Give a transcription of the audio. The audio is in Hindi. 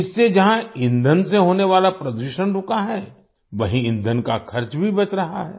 इससे जहाँ ईंधन से होने वाला प्रदूषण रुका है वहीं ईंधन का खर्च भी बच रहा है